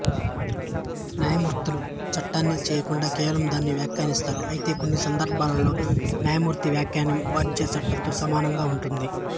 న్యాయమూర్తులు చట్టాన్ని చేయకుండా కేవలం దానిని వ్యాఖ్యానిస్తారు అయితే కొన్ని సందర్భాలలో న్యాయమూర్తి వ్యాఖ్యానం వ్యాజ్య చట్టంతో సమానంగా ఉంటుంది